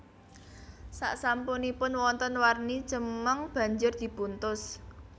Saksampunipun wonten warni cemeng banjur dipuntus